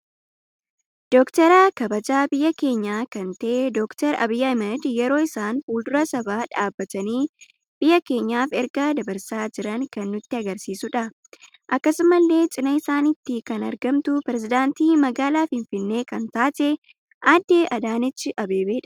Dokteera kabajaa biyya keenya kan ta'e doocter Abiy Ayimed yeroo isaan fulduraa sabaaa dhababtani biyaa keenyaaf erga dabarsaa jiran kan nutti agarsiisudha Akkasumallee cina isatti kan argamtu peeresidantii mgaala finfinnee kan taatee Addee Adaneech Abeebedha.